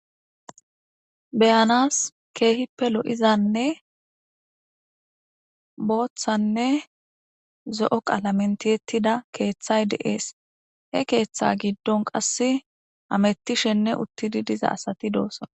beyanas keehippe lo7izanne booththanne zo7o qalamentiettida keeththay deees he keeththa giddon qas amettishenne uttidi diza asati doosson